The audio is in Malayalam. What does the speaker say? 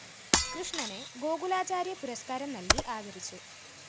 കൃഷ്ണനെ ഗോകുലാചാര്യ പുരസ്‌കാരം നല്‍കി ആദരിച്ചു